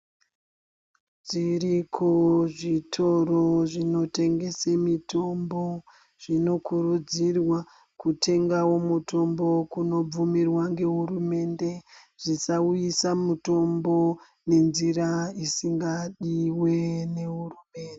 Dziriko zvitoro zvinotengese mitombo. Zvinokurudzirwa kutengawo mutombo kunobvumirwa ngehurumende. Zvisauyisa mutombo nenzira dzisingadiwi nehurumende.